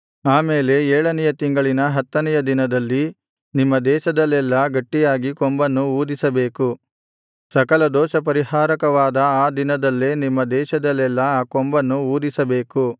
ಆಮೇಲೆ ಏಳನೆಯ ತಿಂಗಳಿನ ಹತ್ತನೆಯ ದಿನದಲ್ಲಿ ನಿಮ್ಮ ದೇಶದಲ್ಲೆಲ್ಲಾ ಗಟ್ಟಿಯಾಗಿ ಕೊಂಬನ್ನು ಊದಿಸಬೇಕು ಸಕಲ ದೋಷಪರಿಹಾರಕವಾದ ಆ ದಿನದಲ್ಲೇ ನಿಮ್ಮ ದೇಶದಲ್ಲೆಲ್ಲಾ ಆ ಕೊಂಬನ್ನು ಊದಿಸಬೇಕು